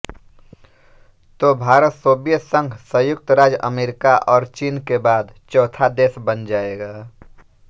तो भारत सोवियत संघ संयुक्त राज्य अमेरिका और चीन के बाद चौथा देश बन जाएगा